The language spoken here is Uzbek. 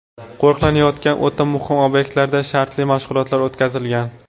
Qo‘riqlanayotgan o‘ta muhim obyektlarda shartli mashg‘ulotlar o‘tkazilgan.